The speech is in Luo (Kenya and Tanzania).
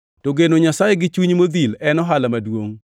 To geno Nyasaye gi chuny modhil en ohala maduongʼ.